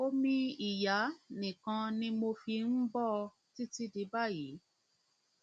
omi ìyá nìkan ni mo fi ń bọ ọ títí di báyìí